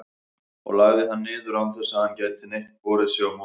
og lagði hann niður, án þess að hann gæti neitt borið sig á móti.